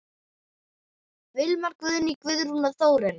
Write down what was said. Vilmar, Guðný, Guðrún og Þórunn.